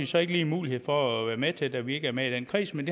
så ikke lige mulighed for at være med til da vi ikke er med i den kreds men